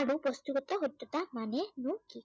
আৰু ব্য়ক্তিগত সত্য়তা মানে নো কি?